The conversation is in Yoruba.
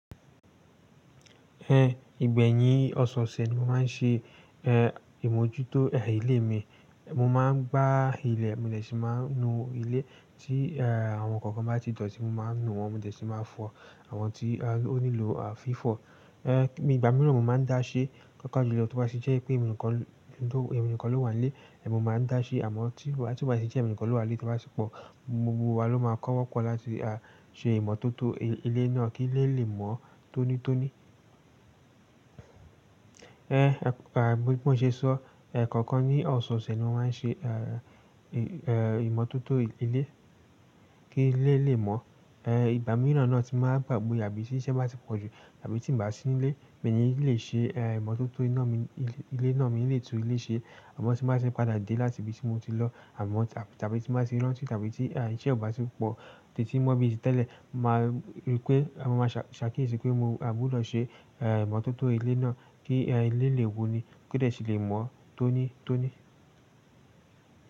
Ẹ̀, ìgbẹ̀yìn ọ̀sẹ̀ ọ̀sẹ̀ ni mo máa ń ṣe, ẹ́, ìmójútó, ẹ́, ilé mi. Mo máa ń gbá ilẹ̀, mo dè sì máa ń nu ilé ti en, àwọn kankan bá ti dọ̀tí mo máa ń nu wọn, mo de sì máa fọ àwọn tí ó nílò, à, fífọ. Ẹ́, nibìgbà mìíràn mo máa ń dá sé paapa julo tí ó bá sì jẹ́ pé èmi nìkan ló, èmi nìkan ló wà n lé, èmi máa ń dá sé àmọ́ tí ó bá sì jẹ́ èmi nìkan ló wà n lé tí ó bá sì pọ̀, gbogbo wa ló máa kọ́wọ́pọ́ láti, a, ṣe ìmọ́tótó ilé náà kí ilé lè mọ́ tónítóní. Ẹ́, à, bí mo ṣe sọ, ẹ́ kọ̀ọ̀kan ní ọ̀sẹ̀ ọ̀sẹ̀ ni mo máa ń ṣe, ẹ́, ìmọ́tótó ilé kí ilé lè mọ́. Ẹ́, ìgbà mìíràn náà tí màá gbàgbé àbí ti iṣẹ́ bá ti pọ̀jù àbí tí bàá sí nílé, mi ni lè ṣe, ẹ́, ìmọ́tótó iná mi, ilé náà mii lè tún ilé ṣe. Àmọ́ tí bàá n ṣe padà dé láti ibi tí mo ti lọ àmọ́ tàbí tí bàá ti ranti tàbí tí, ẹ́, iṣẹ́ ò bá ti pọ̀ títí mó bí ti tẹ́lẹ̀, màá rí pé, à, màá ṣàkíyèsí pé mo, à gbudo ṣe, ẹ́, ìmọ́tótó ilé náà kí, ẹ́, ilé lè wuni, ko de si lè mọ́ tónítóní.